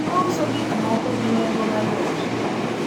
ouso gik moko gi nengo mayot